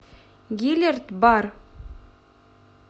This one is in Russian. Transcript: гилерт бар